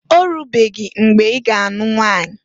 Orubeghi mgbe iga a nụ nwanyi?